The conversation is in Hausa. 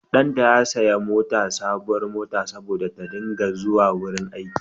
Ɗanta ya saya mata sabuwar mota saboda ta dinga zuwa wurin aiki.